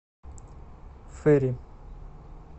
фейри